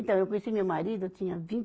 Então, eu conheci meu marido, eu tinha vinte